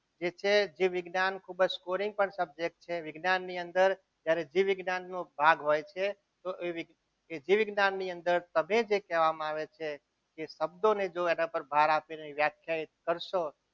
જે છે જીવ વિજ્ઞાન ખૂબ જ subject છે જ્યારે જીવ વિજ્ઞાનનો ભાગ હોય છે તો એ જીવ વિજ્ઞાન ની અંદર જે સફેદ જે કહેવામાં આવે છે એ શબ્દોને જો એના ઉપર ભાર આપીએ એને વ્યાખ્યાયિત કરશો.